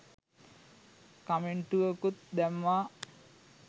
කමෙන්ටුවකුත් දැම්මා